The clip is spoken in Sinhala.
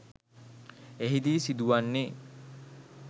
එහිදී සිදුවන්නේ